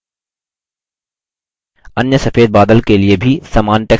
अन्य सफेद बादल के लिए भी समान text प्रविष्ट करें